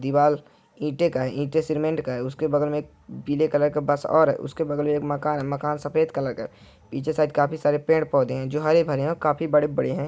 दीवाल ईटें का है ईटें सीमेंट का है उसके बगल में पीले कलर का बस और है उसके बगल में एक मकान है मकान सफेद कलर का है पीछे साइड काफी सारे पेड़ पौधे हैं जो हरे भरे हैं काफी बड़े-बड़े हैं।